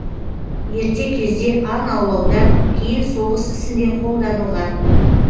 ерте кезде аң аулауда кейін соғыс ісінде қолданылған